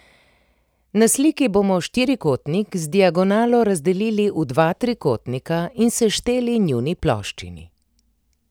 Na sliki bomo štirikotnik z diagonalo razdelili v dva trikotnika in sešteli njuni ploščini.